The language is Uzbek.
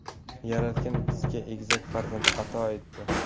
Yaratgan bizga egizak farzand ato etdi.